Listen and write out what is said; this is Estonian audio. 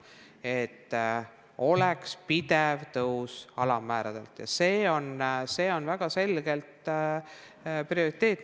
See, et oleks pidev alammäära tõus, on väga selge prioriteet.